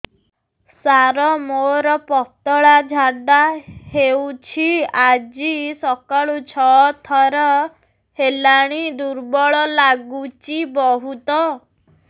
ସାର ମୋର ପତଳା ଝାଡା ହେଉଛି ଆଜି ସକାଳୁ ଛଅ ଥର ହେଲାଣି ଦୁର୍ବଳ ଲାଗୁଚି ବହୁତ